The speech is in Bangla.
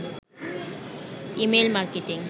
email marketing